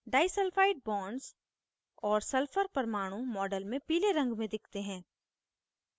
disulphide bonds और sulphur परमाणु model में पीले रंग में दिखते हैं